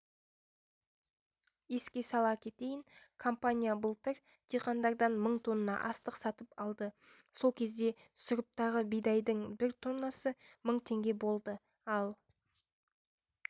еске сала кетейін компания былтыр диқандардан мың тонна астық сатып алды сол кезде сұрыптағы бидайдың бір тоннасы мың теңге болды ал